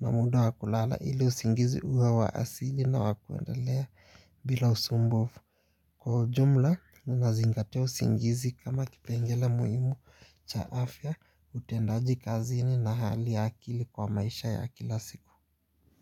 na muda wa kulala ili usingizi uwe wa asili na wa kuendelea bila usumbufu. Kwa ujumla, ninazingatia usingizi kama kipengela muimu cha afya, utendaji kazini na hali akili kwa maisha ya kila siku.